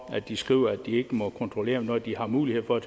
de skriver at de ikke må kontrollere når de har mulighed for at